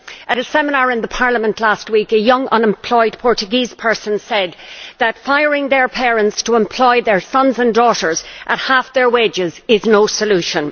At a seminar at Parliament last week, a young unemployed Portuguese person said that firing parents to employ their sons and daughters at half their wages is no solution.